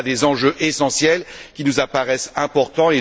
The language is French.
Voilà des enjeux essentiels qui nous apparaissent importants